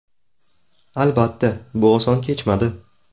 Albatta, bu oson kechmadi.